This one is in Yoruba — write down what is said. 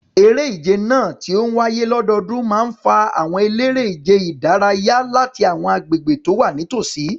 Eré ìje náà, tí ó ń wáyé lọ́dọọdún, máa ń fa àwọn eléré-ìdárayá láti àwọn agbègbè tó wà nítòsí.